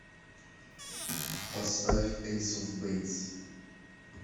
поставь эйс оф бэйс